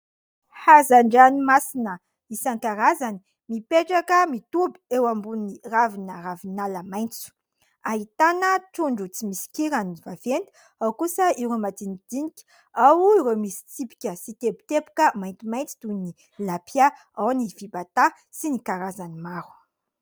Hazan-dranomasina isankarazany, mipetraka, mitoby eo amboniny ravina Ravinala maintso. Ahitana trondro tsy misy kirany vaventy, ao kosa ireo madinidinika, ao ireo misy tsipika sy teboteboka maintimainty toy ny Tilapia, ao ny Fibata, sy ny karazany maro.